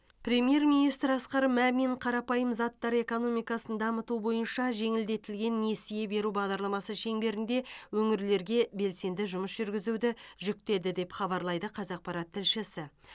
премьер министр асқар мамин қарапайым заттар экономикасын дамыту бойынша жеңілдетілген несие беру бағдарламасы шеңберінде өңірлерге белсенді жұмыс жүргізуді жүктеді деп хабарлайды қазақпарат тілшісі